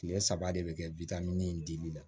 Tile saba de bɛ kɛ in dili la